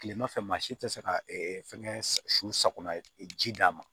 Kilema fɛ maa si te se ka fɛnkɛ su sakona ji d'a ma